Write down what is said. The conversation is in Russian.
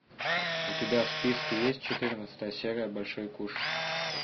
у тебя в списке есть четырнадцатая серия большой куш